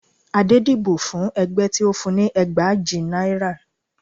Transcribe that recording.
Adé dìbò fún ẹgbẹ́ tí ó fún un ní ẹgbàajì náírà